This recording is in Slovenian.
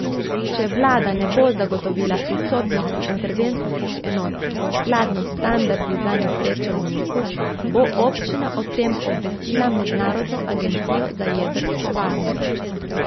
Če vlada ne bo zagotovila prisotnosti intervencijskih enot skladno s standardi za nesreče v Neku, bo občina o tem obvestila mednarodno agencijo za jedrsko varnost.